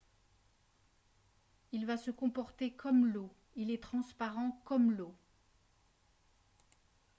« il va se comporter comme l’eau. il est transparent comme l’eau